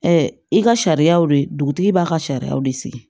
i ka sariyaw de dugutigi b'a ka sariyaw de sigi